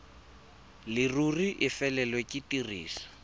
leruri e felelwe ke tiriso